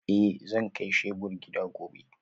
Eh zan kai shebur gida gobe